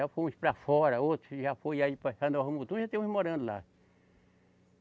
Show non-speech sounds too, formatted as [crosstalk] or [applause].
Já foram uns para fora, outros que já foram aí passar [unintelligible] Mutum e já tem uns morando lá.